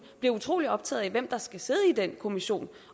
vi utrolig optaget af hvem der skal sidde i den kommission